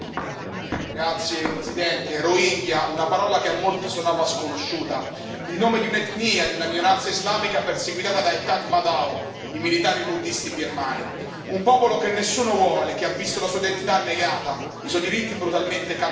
Signor Presidente, onorevoli colleghi, rohingya una parola che a molti suonava sconosciuta, il nome di un'etnia, di una minoranza islamica perseguitata dai Tatmadaw, i militari buddhisti birmani. Un popolo che nessuno vuole, che ha visto la sua identità negata, i suoi diritti brutalmente calpestati.